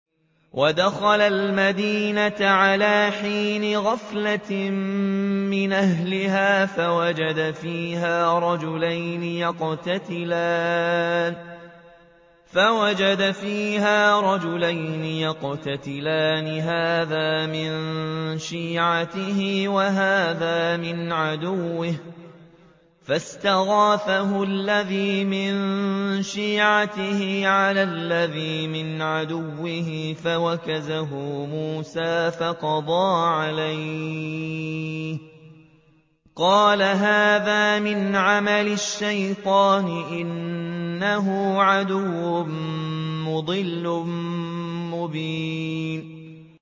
وَدَخَلَ الْمَدِينَةَ عَلَىٰ حِينِ غَفْلَةٍ مِّنْ أَهْلِهَا فَوَجَدَ فِيهَا رَجُلَيْنِ يَقْتَتِلَانِ هَٰذَا مِن شِيعَتِهِ وَهَٰذَا مِنْ عَدُوِّهِ ۖ فَاسْتَغَاثَهُ الَّذِي مِن شِيعَتِهِ عَلَى الَّذِي مِنْ عَدُوِّهِ فَوَكَزَهُ مُوسَىٰ فَقَضَىٰ عَلَيْهِ ۖ قَالَ هَٰذَا مِنْ عَمَلِ الشَّيْطَانِ ۖ إِنَّهُ عَدُوٌّ مُّضِلٌّ مُّبِينٌ